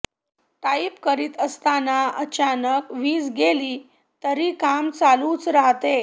type करीत असताना अचानक वीज गेली तरी काम चालूच राहते